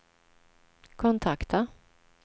kontakta